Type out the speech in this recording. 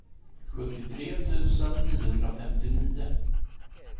sjuttiotre tusen niohundrafemtionio